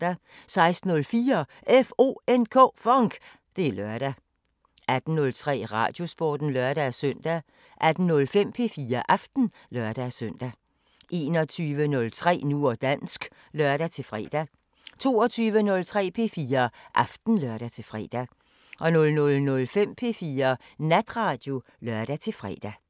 16:04: FONK! Det er lørdag 18:03: Radiosporten (lør-søn) 18:05: P4 Aften (lør-søn) 21:03: Nu og dansk (lør-fre) 22:03: P4 Aften (lør-fre) 00:05: P4 Natradio (lør-fre)